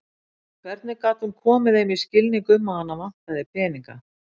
Hvernig gat hún komið þeim í skilning um að hana vantaði peninga?